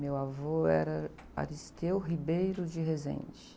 Meu avô era.